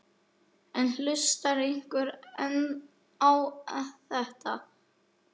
En hlustar einhver á þetta?